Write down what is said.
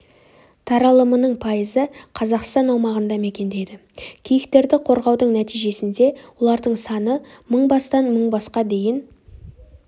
таралымының пайызы қазақстан аумағында мекендейді киіктерді қорғаудың нәтижесінде олардың саны мың бастан мың басқа дейін